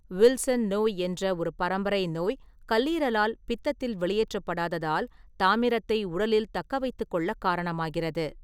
Wilson நோய் என்ற ஒரு பரம்பரை நோய் கல்லீரலால் பித்தத்தில் வெளியேற்றப்படாததால் தாமிரத்தை உடலில் தக்கவைத்துக்கொள்ளக் காரணமாகிறது.